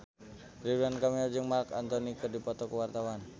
Ridwan Kamil jeung Marc Anthony keur dipoto ku wartawan